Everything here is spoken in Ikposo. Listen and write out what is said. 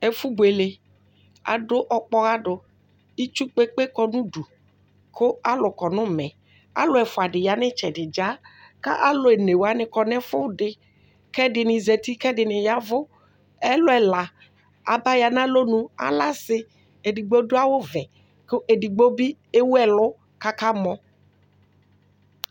Ɛfu buele adu ɔkpɔɣa du itsu kpekpe kpe kɔ nu udu ku alu kɔ nu umɛ alu ɛfuadi kɔ nu itsɛdi dza ku alu onewani kɔ nu ɛfuɛdi kɛdini zati ku ɛdini yavu alu ɛla aba ya nu alɔnu edigbo adu ɔvɛ edigbo bi ewu ɛlu katani kamɔ